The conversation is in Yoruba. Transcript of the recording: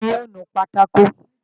Ta ni yóò nu pátákó?